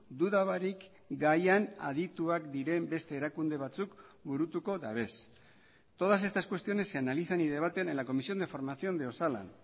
duda barik gaian adituak diren beste erakunde batzuk burutuko dabez todas estas cuestiones se analizan y debaten en la comisión de formación de osalan